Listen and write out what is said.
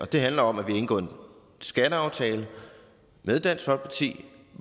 det handler om at vi har indgået en skatteaftale med dansk folkeparti